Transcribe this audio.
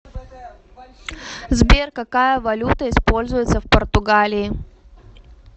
сбер какая валюта используется в португалии